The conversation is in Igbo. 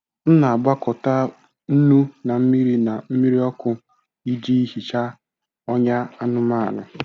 M na-agwakọta nnu na mmiri na mmiri ọkụ iji hichaa ọnyá anụmanụ.